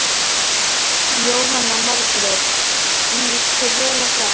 Jóhanna Margrét: Lýst þér vel á það?